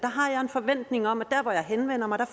forventning om at der hvor jeg henvender mig